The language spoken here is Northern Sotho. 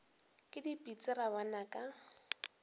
ke dipitsi ra bona ka